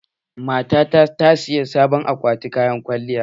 Matata ta saya sabon akwatin kayan kwalliya.